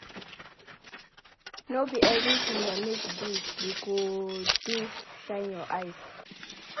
No be everytin your mates do you go do shine your eyes.